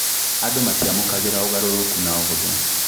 Andũ matiamũkagĩra ũgarũrũkũ na ũhũthũ